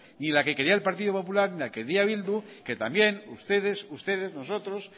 ni la que quería el partido popular ni la que quería bildu que también ustedes ustedes nosotros